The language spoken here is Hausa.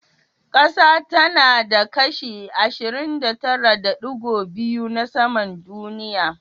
Ƙasa tana da kashi 29.2% na saman duniya.